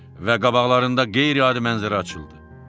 Və qabaqlarında qeyri-adi mənzərə açıldı.